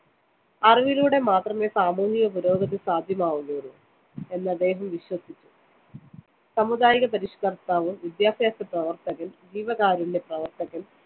അറിവിലൂടെ മാത്രമേ സാമൂഹികപുരോഗതി സാധ്യമാവുകയുള്ളൂ എന്ന് അദ്ദേഹം വിശ്വസിച്ചു. സാമുദായികപരിഷ്‌കര്‍ത്താവ്, വിദ്യാഭ്യാസപ്രവര്‍ത്തകന്‍, ജീവകാരുണ്യപ്രവര്‍ത്തകന്‍